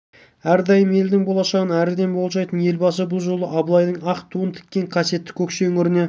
әрдайым елдің болашағын әріден болжайтын елбасы бұл жолы да абылайдың ақ туын тіккен қасиетті көкше өңіріне